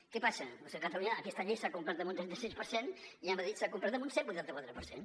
què passa doncs que a catalunya aquesta llei s’ha complert en un trenta sis per cent i a madrid s’ha complert en un cent i vuitanta quatre per cent